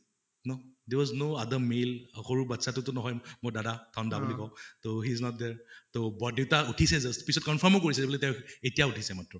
no, there was no other male সৰু বাচ্ছাতো টো নহয় মোৰ দাদা ধনদা বুলি কওঁ, তʼ he was not there তʼ বৰদেউতা উঠিছে just পিছত confirm ও কৰিছে এতিয়া উঠিছে মাত্ৰ